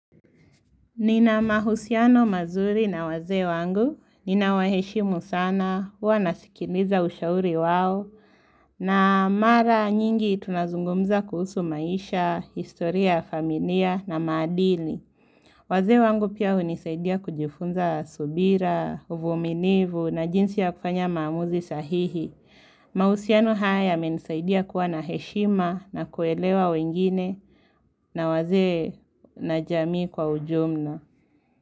Nina mahusiano mazuri na wazee wangu, nina waheshimu sana, huwanasikiliza ushauri wao, na mara nyingi tunazungumza kuhusu maisha, historia, familia, na madili. Wazee wangu pia hunisaidia kujifunza subira, uvumilivu, na jinsi ya kufanya maamuzi sahihi. Mahusiano haya yamenisaidia kuwa na heshima na kuelewa wengine, na wazee na jamii kwa ujumla.